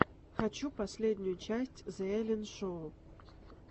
хочу последнюю часть зе эллен шоу